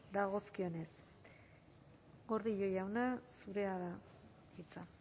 dagokionez gordillo jauna zurea da hitza